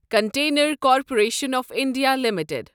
container corporation of India limited